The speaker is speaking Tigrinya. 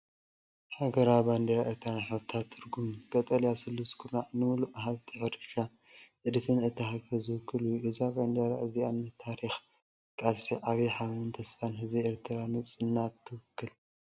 ሃገራዊ ባንዴራ ኤርትራን ሕብርታትን ትርጉምን፦ ቀጠልያ ስሉስ ኩርናዕ ንልሙዕ ሃብቲ ሕርሻን ጥሪትን እታ ሃገር ዝውክል እዩ። እዛ ባንዴራ እዚኣ ንታሪኽ፡ ቃልሲ፡ ዓቢ ሓበንን ተስፋን ህዝቢ ኤርትራ ንናጽነት ትውክል።